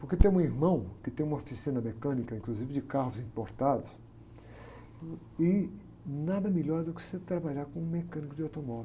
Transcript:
Porque tem um irmão que tem uma oficina mecânica, inclusive de carros importados, e nada melhor do que você trabalhar como mecânico de automóvel.